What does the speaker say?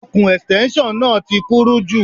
Okùn Ẹ̀stẹ́nṣọ̀n náà ti kúrú jù.